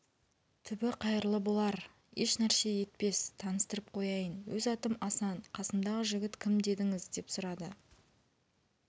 түбі қайырлы болар ешнәрсе етпес таныстырып қояйын өз атым асан қасымдағы жігіт кім дедіңіз деп сұрады